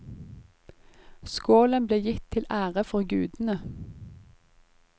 Skålen ble gitt til ære for gudene.